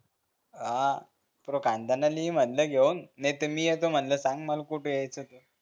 आ पुऱ्या खान्दानाले ये म्हणलं घेऊन नाही त मी येतो म्हणलं सांग मल कुठं यायचं त